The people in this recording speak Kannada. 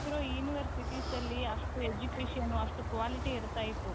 ಅವಾಗಿರೋ universitiesಅಲ್ಲಿ ಅಷ್ಟು education ಅಷ್ಟು quality ಇರ್ತಾ ಇತ್ತು.